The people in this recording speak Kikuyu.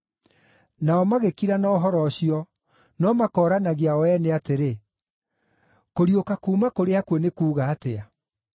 Nao magĩkira na ũhoro ũcio, no makooranagia o ene atĩrĩ, “kũriũka kuuma kũrĩ akuũ nĩ kuuga atĩa.”